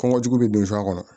Kɔngɔ jugu bɛ don so a kɔnɔ